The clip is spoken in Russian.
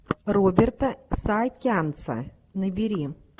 роберта саакянца набери